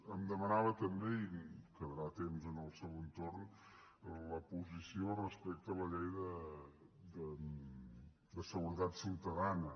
em demanava també i em quedarà temps en el segon torn la posició respecte a la llei de seguretat ciutadana